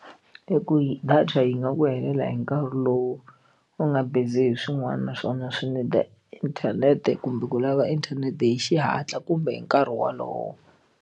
Hi ku yi data yi nga ku helela hi nkarhi lowu u nga busy hi swin'wana naswona swi need-a inthanete kumbe ku lava inthanete hi xihatla kumbe hi nkarhi wolowo.